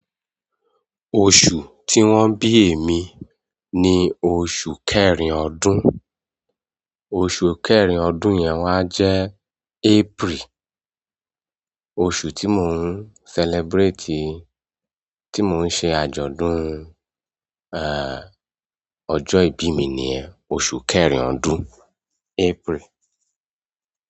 Oṣù tí wón bí èmi ni oṣù kẹrin ọdún. Oṣù kẹrin ọdún yẹn wá jẹ́ April. Oṣù tí mò ń celebrate, tí mò ń ṣe àjọ̀dún, à, ọjọ́ ìbí mi ni oṣù kẹrin ọdún, April.